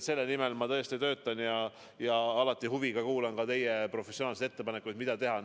Selle nimel ma tõesti töötan ja alati huviga kuulan ka teie professionaalseid ettepanekuid, mida teha.